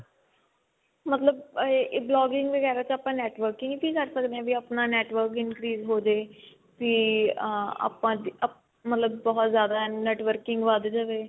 ਮਤਲਬ ਇਹ blogging ਵਗੇਰਾ ਆਪਾਂ networking ਤੇ ਹੀ ਕਰ ਸਕਦੇ ਹਾਂ ਵੀ ਆਪਣਾ network increase ਹੋਜੇ ਵੀ ਅਮ ਆਪਾਂ ਅਹ ਮਤਲਬ ਬਹੁਤ ਜ਼ਿਆਦਾ networking ਵੱਧ ਜਾਵੇ